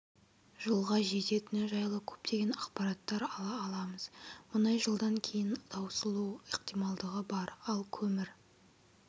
жылға жететіні жайлы көптеген ақпараттар ала аламыз мұнай жылдан кейін таусылу ықтималдығы бар ал көмір